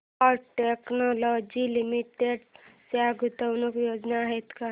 cat Technologies Limited च्या गुंतवणूक योजना आहेत का